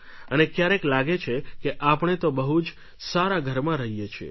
અને ક્યારેક લાગે છે કે આપણે તો બહુ જ સારા ઘરમાં રહીએ છીએ